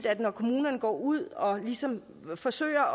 at kommunerne går ud og ligesom forsøger